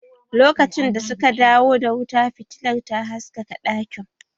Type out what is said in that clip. Lokacin da suka dawo da wuta fitilar ta haskaka ɗakin